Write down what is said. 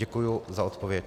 Děkuji za odpověď.